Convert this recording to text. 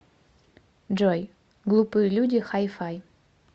джой глупые люди хай фай